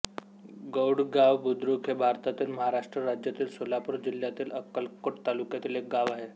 गौडगाव बुद्रुक हे भारतातील महाराष्ट्र राज्यातील सोलापूर जिल्ह्यातील अक्कलकोट तालुक्यातील एक गाव आहे